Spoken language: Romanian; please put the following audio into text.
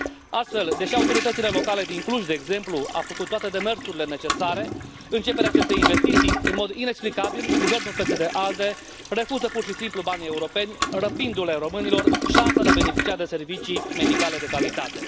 Astfel, deși autoritățile locale din Cluj, de exemplu, au făcut toate demersurile necesare începerii acestei investiții, în mod inexplicabil, guvernul PSD ALDE refuză pur și simplu banii europeni, răpindu le românilor șansa de a beneficia de servicii medicale de calitate.